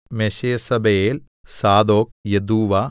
മെശേസബെയേൽ Zadok Jaddua